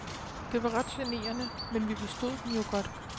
Det var ret generende, men vi forstod dem jo godt.